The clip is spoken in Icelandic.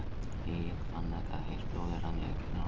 Egill fann þegar heitt blóðið rann niður kinnina á honum.